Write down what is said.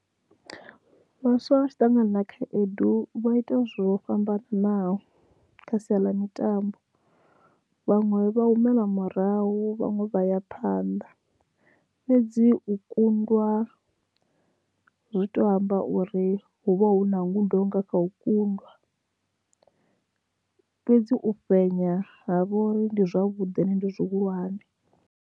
Vhaswa vha tshi ṱangana na khaedu vha ita zwo fhambananaho kha sia ḽa mitambo vhaṅwe vha humela murahu vhaṅwe vha ya phanḓa fhedzi u kundwa zwi to amba uri hu vha hu na ngudo nga kha u kundwa fhedzi, u fhenya ha vha uri ndi zwavhuḓi ende ndi zwihulwane.